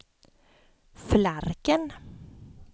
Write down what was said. Flarken